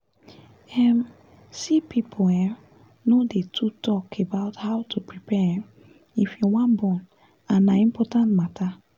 um see people um no dey too talk about how to prepare um if you wan born and na important matter